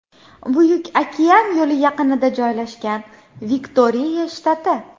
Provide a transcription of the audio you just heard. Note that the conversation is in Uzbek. Buyuk okean yo‘li yaqinida joylashgan, Viktoriya shtati.